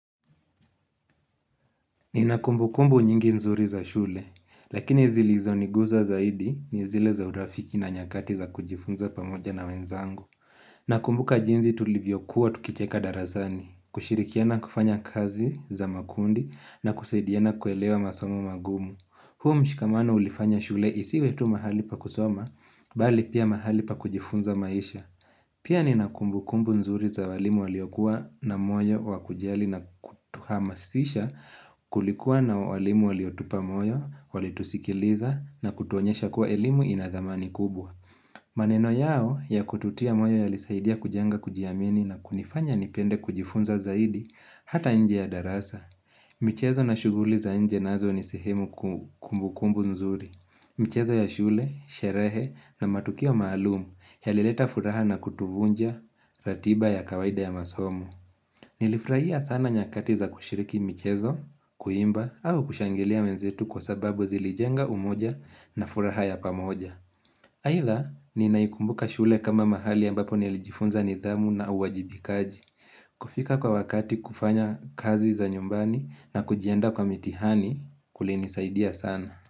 Ni na kumbu kumbu nyingi nzuri za shule, lakini zili zoniguza zaidi ni zile za urafiki na nyakati za kujifunza pamoja na wenzangu. Nakumbu ka jinzi tulivyokuwa tukicheka darazani, kushirikiana kufanya kazi za makundi na kusaidiana kuelewa masomo magumu. Huu mshikamano ulifanya shule isi wetu mahali pa kusoma, bali pia mahali pa kujifunza maisha. Pia ni na kumbu kumbu nzuri za walimu waliokuwa na moyo wakujali na kutuhamasisha kulikuwa na walimu waliotupa moyo, wali tusikiliza na kutuonyesha kuwa elimu inadhamani kubwa. Maneno yao ya kututia moyo yalisaidia kujenga kujiamini na kunifanya nipende kujifunza zaidi hata nje ya darasa. Michezo na shuguli za nje nazo ni sehemu kumbu kumbu nzuri. Michezo ya shule, sherehe na matukio maalumu ya lileta furaha na kutuvunja ratiba ya kawaida ya masomo. Nilifraia sana nyakati za kushiriki michezo, kuimba au kushangilia wenzetu kwa sababu zilijenga umoja na furaha ya pamoja. Haidha, ninaikumbuka shule kama mahali ambapo nilijifunza nidhamu na uwajibikaji. Kufika kwa wakati kufanya kazi za nyumbani na kujiandaa kwa mitihani kulini saidia sana.